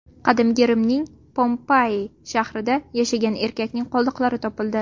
Qadimgi Rimning Pompei shahrida yashagan erkakning qoldiqlari topildi.